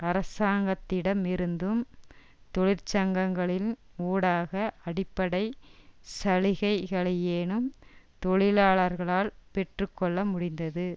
அரசாங்கத்திடமிருந்தும் தொழிற்சங்கங்களின் ஊடாக அடிப்படை சலுகைகளையேனும் தொழிலாளர்களால் பெற்று கொள்ள முடிந்தது